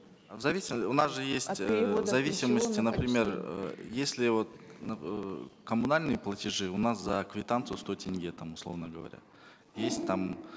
у нас же есть от переводов в зависимости например э если вот э коммунальные платежи у нас за квитанцию сто тенге там условно говоря есть там